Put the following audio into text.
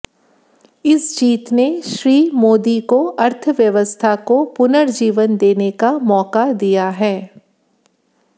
इस जीत ने श्री मोदी को अर्थव्यवस्था को पुनर्जीवन देने का मौका दिया है